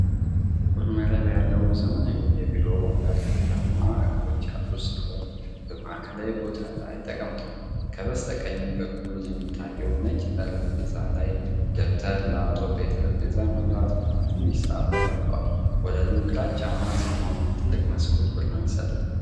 ጥቁር መረብ ያለው ዘመናዊ የቢሮ ወንበር ብርማ እግሮች ያሉት ሲሆን፣ በማዕከላዊ ቦታ ላይ ተቀምጧል። ከበስተቀኝ በኩል በሚታየው ነጭ ጠረጴዛ ላይ ደብተር፣ ላፕቶፕ፣ የጠረጴዛ መብራት እና ትንሽ ሰዓት ተቀምጠዋል። ወለሉ ግራጫማ ሲሆን፣ ትልቅ መስኮት ብርሃን ይሰጣል።